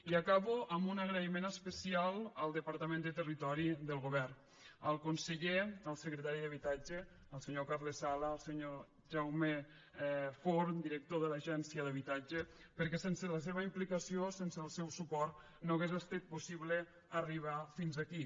i acabo amb un agraïment especial al departament de territori del govern al conseller al secretari d’habitatge el senyor carles sala al senyor jaume forn director de l’agència d’habitatge perquè sense la seva implicació sense el seu suport no hagués estat possible arribar fins aquí